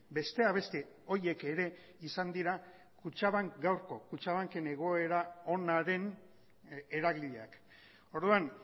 besteak beste horiek ere izan dira gaurko kutxabanken egoera onaren eragileak orduan